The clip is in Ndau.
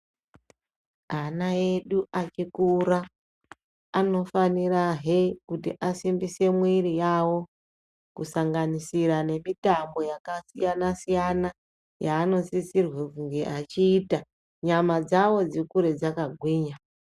Ana edu achikura anofanira hee kuti asimbise muwiri yavo kusanganisira nemitambo yakasiyana siyana yaano sisirwe kunge achiita nyama dzavo dzikure dzakagwinya.